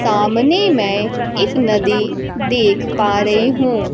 सामने मै एक नदी देख पा रही हूं।